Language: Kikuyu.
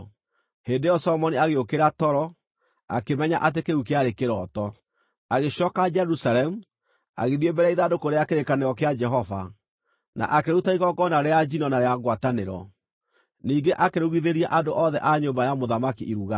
Hĩndĩ ĩyo Solomoni agĩũkĩra toro, akĩmenya atĩ kĩu kĩarĩ kĩroto. Agĩcooka Jerusalemu, agĩthiĩ mbere ya ithandũkũ rĩa kĩrĩkanĩro kĩa Jehova, na akĩruta igongona rĩa njino na rĩa ngwatanĩro. Ningĩ akĩrugithĩria andũ othe a nyũmba ya mũthamaki iruga.